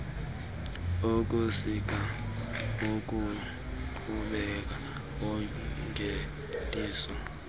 ukusika umqukumbelo wongeniso